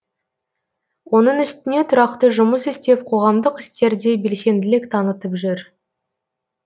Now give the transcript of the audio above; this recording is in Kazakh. оның үстіне тұрақты жұмыс істеп қоғамдық істерде белсенділік танытып жүр